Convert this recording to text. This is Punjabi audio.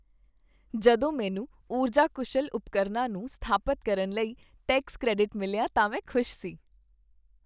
ਜਦੋਂ ਮੈਨੂੰ ਊਰਜਾ ਕੁਸ਼ਲ ਉਪਕਰਨਾਂ ਨੂੰ ਸਥਾਪਤ ਕਰਨ ਲਈ ਟੈਕਸ ਕ੍ਰੈਡਿਟ ਮਿਲਿਆ ਤਾਂ ਮੈਂ ਖੁਸ਼ ਸੀ